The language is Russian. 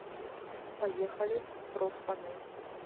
поехали профпанель